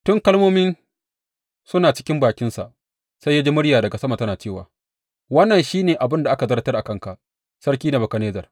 Tun kalmomin suna cikin bakinsa sai ya ji murya daga sama tana cewa, Wannan shi ne abin da aka zartar a kanka, Sarki Nebukadnezzar.